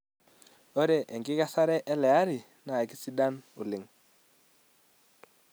Ore enkikesare ele ari naa kisidan oleng.